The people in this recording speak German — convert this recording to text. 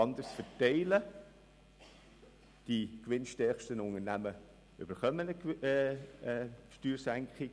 Einzig die Verteilung sieht gemäss unserem Antrag anders aus.